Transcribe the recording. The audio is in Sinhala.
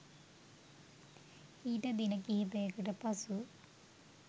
ඊට දින කිහිපයකට පසු